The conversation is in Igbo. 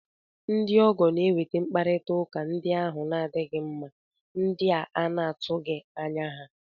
Ndị ọgọ na-eweta mkparịta ụka ndị ahụ na-adịghị mma, ndị a na-atụghị anya ha